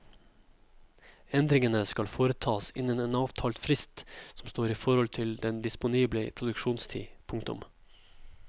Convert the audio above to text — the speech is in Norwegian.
Endringene skal foretas innen en avtalt frist som står i forhold til den disponible produksjonstid. punktum